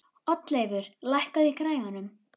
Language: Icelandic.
Oddleifur, lækkaðu í græjunum.